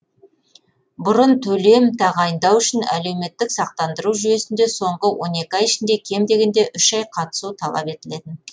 бұрын төлем тағайындау үшін әлеуметтік сақтандыру жүйесінде соңғы он екі ай ішінде кем дегенде үш ай қатысу талап етілетін